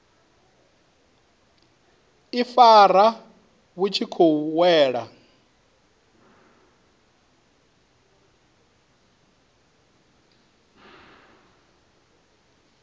ifara vhu tshi khou wela